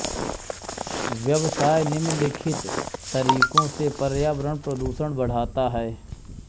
व्यवसाय निम्नलिखित तरीकों से पर्यावरण प्रदूषण बढ़ाता है